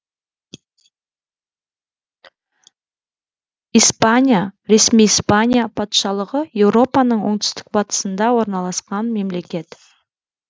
испания ресми испания патшалығы еуропаның оңтүстік батысында орналасқан мемлекет